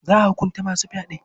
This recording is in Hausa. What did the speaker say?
Za a hukunta masu fyaɗe.